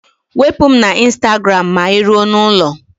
Wepụ m na ịnstagram maa ị rue n'ụlọ!